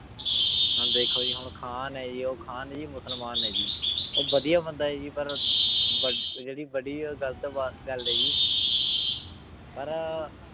ਹੁਣ ਦੇਖੋ ਜੀ ਹੁਣ ਖਾਨ ਹੈ ਜੀ ਉਹ ਖਾਨ ਜੀ ਮੁਸਲਮਾਨ ਹੈ ਜੀ ਉਹ ਵਧੀਆ ਬੰਦਾ ਹੈ ਜੀ ਪਰ ਬ ਜਿਹੜੀ ਬੜੀ ਉਹ ਗ਼ਲਤ ਬਾ ਗੱਲ ਹੈ ਜੀ ਪਰ